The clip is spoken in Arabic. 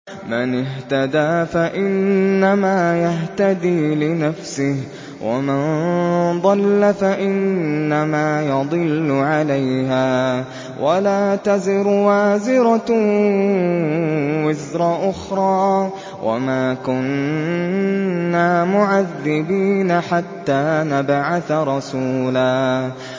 مَّنِ اهْتَدَىٰ فَإِنَّمَا يَهْتَدِي لِنَفْسِهِ ۖ وَمَن ضَلَّ فَإِنَّمَا يَضِلُّ عَلَيْهَا ۚ وَلَا تَزِرُ وَازِرَةٌ وِزْرَ أُخْرَىٰ ۗ وَمَا كُنَّا مُعَذِّبِينَ حَتَّىٰ نَبْعَثَ رَسُولًا